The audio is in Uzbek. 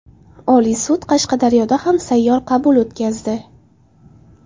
Oliy sud Qashqadaryoda ham sayyor qabul o‘tkazdi.